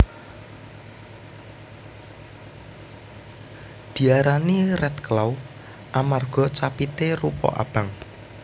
Diarani Redclaw amarga capité rupa abang